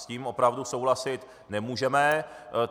S tím opravdu souhlasit nemůžeme.